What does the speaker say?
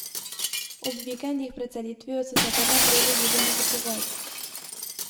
Ob vikendih pred selitvijo so se kar naprej vozili nakupovat.